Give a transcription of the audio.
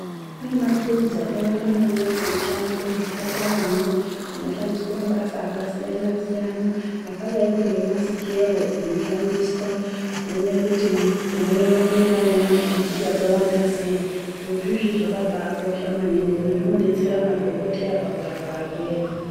Kune maturuzi akawanda maningi anoshandiswa muzvipataramwo, anoshandiswa mabasa akasiyana-siyana akadaiko ngemasikero anoshandiswa kuone kuti murwere unenge aine makeejii akawanda sei. Zviro zviizvi zvakabaakosha maningi ngekuti zvinodetsera madhogoteya pakurapa varwere.